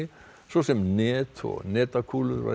svo sem net og net og netakúlur var